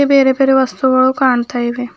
ಬೇರೆ ಬೇರೆ ವಸ್ತುಗಳು ಕಾಣ್ತಾ ಇವೆ.